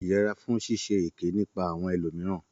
Yẹra fún ṣíṣe èké nípa àwọn elò mìíràn.